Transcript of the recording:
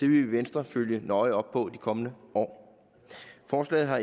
vi i venstre følge nøje op på i de kommende år forslaget har